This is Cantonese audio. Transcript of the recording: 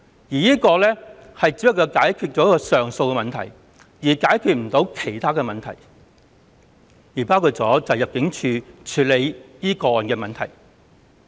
現在建議的做法只能解決上訴的問題，但無法解決其他問題，包括入境處如何處理這些個案的問題。